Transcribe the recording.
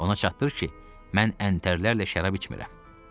Ona çatdırır ki, mən əntərlərlə şərab içmirəm.